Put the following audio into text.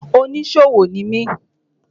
Oníṣòwò ni mi.